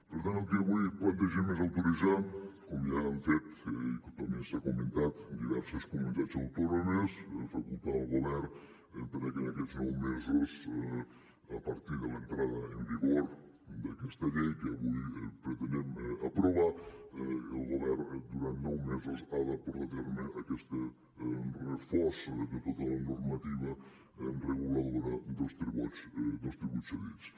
per tant el que avui plantegem és autoritzar com ja han fet que també s’ha comentat diverses comunitats autònomes facultar el govern perquè en aquests nou mesos a partir de l’entrada en vigor d’aquesta llei que avui pretenem aprovar el govern durant nou mesos ha de portar a terme aquesta refosa de tota la normativa reguladora dels tributs cedits